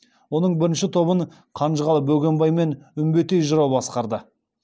оның бірінші тобын қанжығалы бөгенбай мен үмбетей жырау басқарды